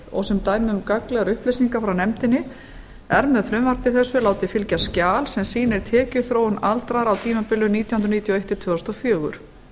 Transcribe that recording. og sem dæmi um gagnlegar upplýsingar frá nefndinni er með frumvarpi þessu látið fylgja skjal sem sýnir tekjuþróun aldraðra á tímabilinu nítján hundruð níutíu og eitt til tvö þúsund og fjögur